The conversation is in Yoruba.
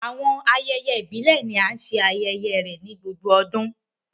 Awọn ayẹyẹ ibile ni a ṣe ayẹyẹ ni gbogbo ọdun